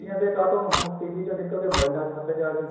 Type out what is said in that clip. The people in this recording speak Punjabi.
ਦੇਖੀ ਜਾਂਦੇ ਕਾਤੋ ਹੁਣ TV ਚੋ ਨਿਕਲ ਕੇ ਮੋਬਾਇਲਾ ਹੱਥ ਚ ਆ ਗਏ